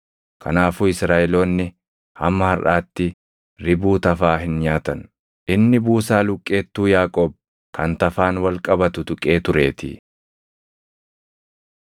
Kanaafuu Israaʼeloonni hamma harʼaatti ribuu tafaa hin nyaatan; inni buusaa luqqeettuu Yaaqoob kan tafaan wal qabatu tuqee tureetii.